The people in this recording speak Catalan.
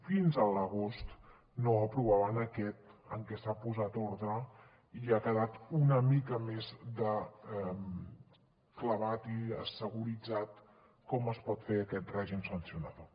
fins a l’agost no aprovaven aquest en què s’ha posat ordre i ha quedat una mica més clavat i seguritzat com es pot fer aquest règim sancionador